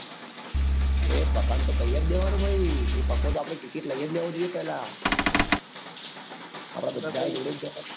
અરે પાકા ને કઈ જ દેવાનું ભાઈ એ પાકો તો આપડી ticket લઇ લેવો જ જોઈએ પેલા આપડે બધા એ જોડે જ જવાનું.